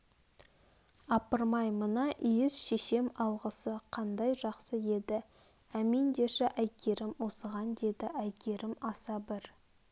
апырмай мына иіс шешем алғысы қандай жақсы еді әмин деші әйгерім осыған деді әйгерім аса бір